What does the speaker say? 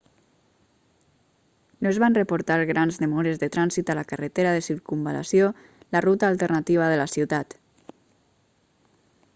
no es van reportar grans demores de trànsit a la carretera de circunvalació la ruta alternativa de la ciutat